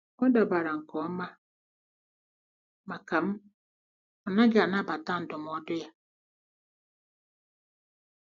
Ọ dabara nke ọma maka m, ọ naghị anabata ndụmọdụ ya.